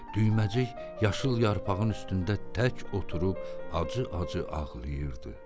Düyməcik yaşıl yarpağın üstündə tək oturub acı-acı ağlayırdı.